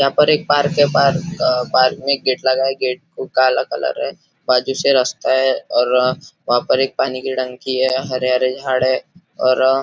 यहाँ पर एक पार्क है पार्क अ पार्क में गेट लगा है गेट को काला कलर है बाजु से रस्ता है और वहाँ पर एक पानी की टंकी है हरे हरे झाड़ है और --